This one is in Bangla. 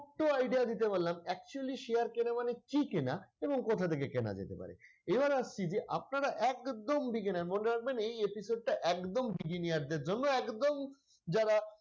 idea দিতে পারলাম actually share কেনা মানে কি কেনা এবং কোথা থেকে কেনা যেতে পারে এবার আসছি যে আপনারা একদম beginner মনে রাখবেন এই episode টা একদম beginner দের জন্য একদম যারা,